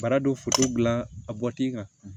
Bara dɔ foto dilan a bɔti kan